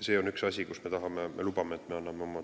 See on üks asi, mille kohta me lubame, et me anname